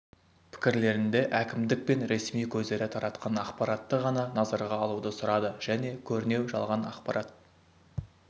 пікірлерінде әкімдік пен ресми көздері таратқан ақпаратты ғана назарға алуды сұрады және көрінеу жалған ақпарат